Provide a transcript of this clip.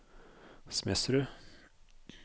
Smedsrud